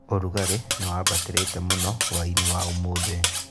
Ũrugarĩ nĩwambatĩrĩte mũno hwai-inĩ wa ũmũthĩ